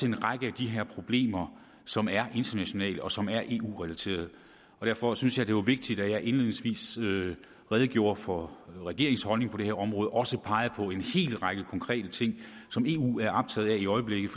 en række af de her problemer som er internationale og som er eu relaterede derfor synes jeg det var vigtigt at jeg indledningsvis redegjorde for regeringens holdning på det her område og også pegede på en hel række konkrete ting som eu er optaget af i øjeblikket